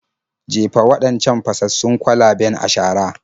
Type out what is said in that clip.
Jefa waɗancan fasassun kwalaben a shara.